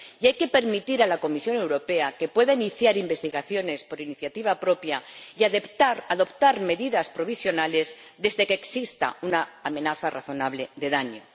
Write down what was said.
Y hay que permitir a la Comisión Europea que pueda iniciar investigaciones por iniciativa propia y adoptar medidas provisionales desde que exista una amenaza razonable de daño.